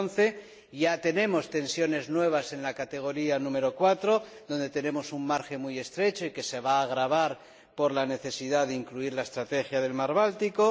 2011. Ya tenemos tensiones nuevas en la categoría número 4, donde contamos con un margen muy estrecho que se va a agravar por la necesidad de incluir la Estrategia del mar Báltico.